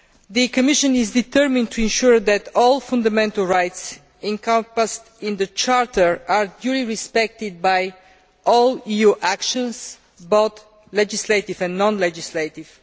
The Commission is determined to ensure that all fundamental rights encompassed in the Charter are duly respected by all EU actions, both legislative and non legislative.